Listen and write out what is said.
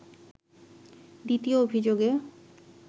দ্বিতীয় অভিযোগে